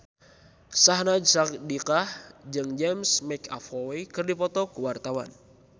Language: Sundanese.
Syahnaz Sadiqah jeung James McAvoy keur dipoto ku wartawan